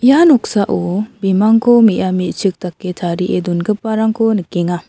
ia noksao bimangko me·a me·chikko tarie dongiparangko nikenga.